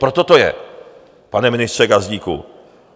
Proto to je, pane ministře Gazdíku.